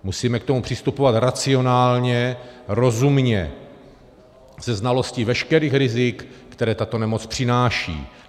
Musíme k tomu přistupovat racionálně, rozumně, se znalostí veškerých rizik, která tato nemoc přináší.